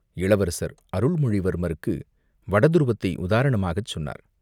இளவரசர் அருள்மொழிவர்மருக்கு வடதுருவத்தை உதாரணமாகச் சொன்னார்.